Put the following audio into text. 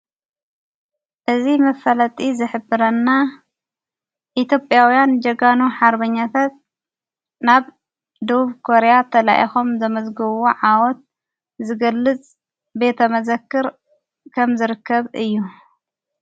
እዝ መፈለጢ ዝኅብረና ኢቲዬጴኣውያን ጀጋኑ ሓርበኛተት ናብ ዶብቡ ኮርያ ተላኤኾም ዘመዝጐዎ ዓወት ዝገልጽ ቤተ መዘክር ከም ዝርከብ እዩ።